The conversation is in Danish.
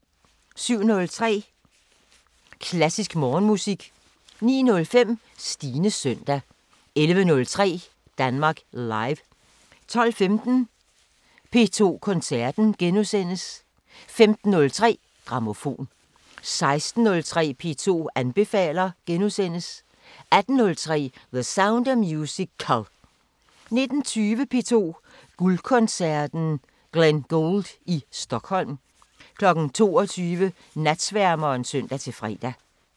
07:03: Klassisk Morgenmusik 09:05: Stines søndag 11:03: Danmark Live 12:15: P2 Koncerten * 15:03: Grammofon 16:03: P2 anbefaler * 18:03: The Sound of Musical 19:20: P2 Guldkoncerten: Glenn Gould i Stockholm 22:00: Natsværmeren (søn-fre)